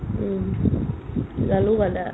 উম্, জালুক, আদা